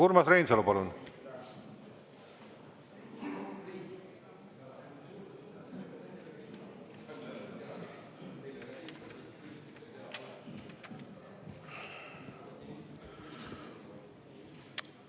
Urmas Reinsalu, palun!